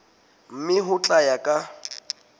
mme ho tla ya ka